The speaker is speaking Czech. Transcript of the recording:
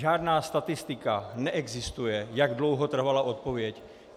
Žádná statistika neexistuje, jak dlouho trvala odpověď.